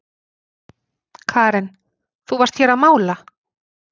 Karen: Þú varst hér að mála?